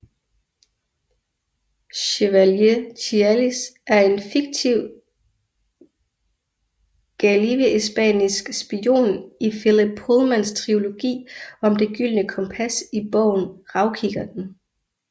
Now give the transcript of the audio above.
Chevalier Tialys er en fiktiv gallivespiansk spion i Philip Pullmans trilogi om Det gyldne kompas i bogen Ravkikkerten